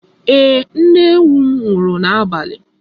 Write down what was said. Ee, nne ewu m nwụrụ n'abalị.